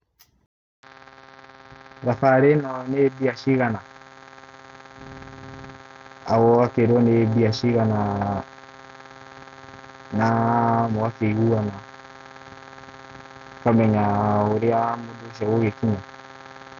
Thabarĩ ĩno nĩ mbia cigana? ũgakĩĩrwo nĩ mbia cigana na mũgakĩiguana. ũkamenya ũrĩa mũndũ ũcio agũgĩkinya.